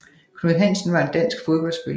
Knud Hansen var en dansk fodboldspiller